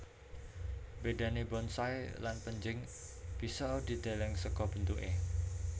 Bedané bonsai lan pénjing bisa dideleng saka bentuké